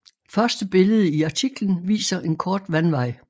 Første billede i artiklen viser en kort vandvej